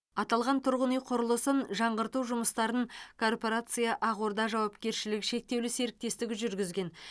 аталған тұрғын үй құрылысын жаңғырту жұмыстарын корпорация ақорда жауапкершілігі шектеулі серіктестігі жүргізген